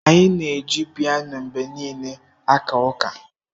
Anyị na-eji piano mgbe niile aka ụka.